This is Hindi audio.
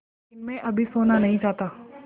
लेकिन मैं अभी सोना नहीं चाहता